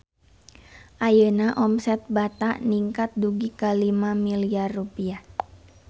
Ayeuna omset Bata ningkat dugi ka 5 miliar rupiah